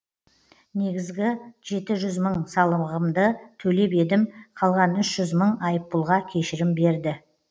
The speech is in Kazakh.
негізгі жеті жүз мың салығымды төлеп едім қалған үш жүз мың айыппұлға кешірім берді